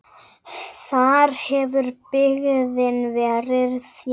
Þar hefur byggðin verið þétt.